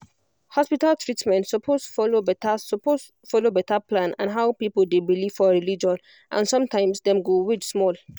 hospital treatment suppose follow better suppose follow better plan and how people dey believe for religion and sometimes dem go wait small